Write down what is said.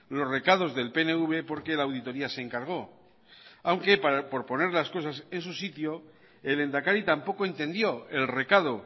los recados del pnv porque la auditoría se encargó aunque por poner las cosas en su sitio el lehendakari tampoco entendió el recado